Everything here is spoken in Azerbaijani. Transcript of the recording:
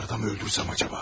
Onları da mı öldürsəm acaba?